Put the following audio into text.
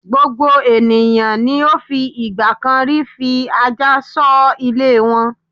Gbogbo ènìyàn ni ó fi ìgbà kan rí fi ajá ṣọ́ ilé wọn.